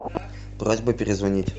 просьба перезвонить